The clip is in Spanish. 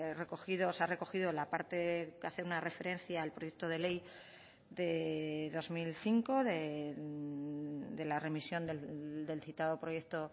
recogido sea recogido la parte que hace una referencia al proyecto de ley de dos mil cinco de la remisión del citado proyecto